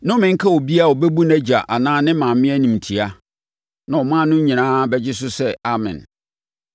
“Nnome nka obiara a ɔbɛbu nʼagya anaa ne maame animtia.” Na ɔman no nyinaa bɛgye so sɛ, “Amen!”